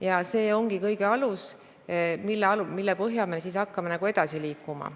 Ja see ongi kõige alus, mille põhjal me hakkame edasi liikuma.